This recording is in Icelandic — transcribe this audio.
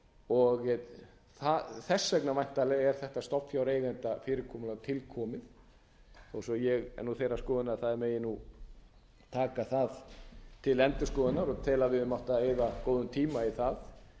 og þess vegna væntanlega er þetta stofnfjáreigendafyrirkomulag til komið þó svo að ég sé þeirrar skoðunar að það megi taka það til endurskoðunar og tel að við hefðum átt að eyða góðum tíma í það